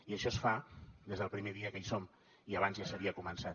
i això es fa des del primer dia que hi som i abans ja s’havia començat